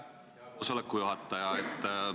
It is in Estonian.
Aitäh, hea koosoleku juhataja!